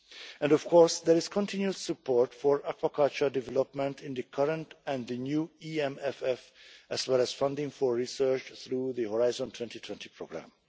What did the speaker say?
And of course, there is continued support for aquaculture development in the current and the new EMFF, as well as funding for research through the Horizon 2020 programme.